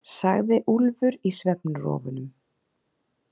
, sagði Úlfur í svefnrofunum.